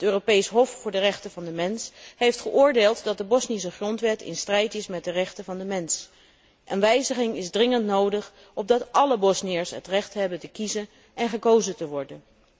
Het Europees Hof voor de rechten van de mens heeft geoordeeld dat de Bosnische grondwet in strijd is met de rechten van de mens en wijziging is dringend nodig opdat alle Bosniërs het recht hebben te kiezen en gekozen te worden.